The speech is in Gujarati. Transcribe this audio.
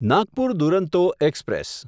નાગપુર દુરંતો એક્સપ્રેસ